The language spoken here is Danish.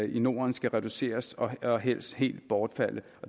i norden skal reduceres og og helst helt bortfalde